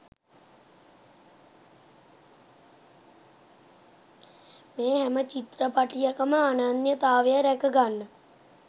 මේ හැම චිත්‍රපටයකම අනන්‍යතාවය රැක ගන්න